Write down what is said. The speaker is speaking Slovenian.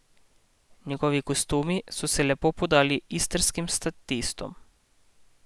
Njegovi kostumi so se lepo podali istrskim statistom.